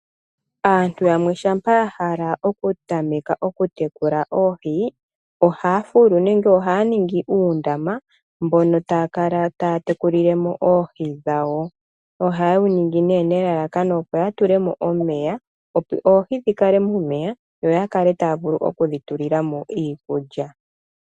Aantu yamwe shampa ya hala oku tameka oku tekula oohi, ohaya fulu nenge ohaya ningi uundama, mbono taya kala taya tekulile mo oohi dhawo, ohaye wu ningi nee nelalakano opo ya tulemo omeya, opo ohi dhi kale momeya, yo ya kale ta ya vulu oku dhi tulila mo iikulya.